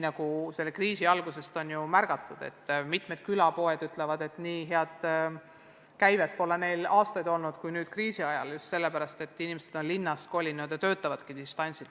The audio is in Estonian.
Nagu selle kriisi algusest on märgatud, ka mitmed külapoed ütlevad, et nii head käivet kui nüüd kriisi ajal pole neil aastaid olnud – just sellepärast, et inimesed on linnast maale kolinud ja töötavad distantsilt.